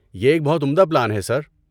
یہ ایک بہت عمدہ پلان ہے سر۔